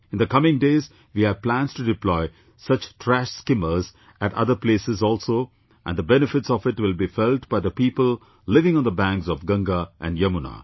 In the coming days, we have plans to deploy such trash skimmers at other places also and the benefits of it will be felt by the people living on the banks of Ganga and Yamuna